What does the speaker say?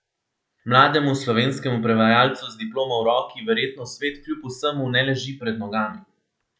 Mlademu slovenskemu prevajalcu z diplomo v roki verjetno svet kljub vsemu ne leži pred nogami.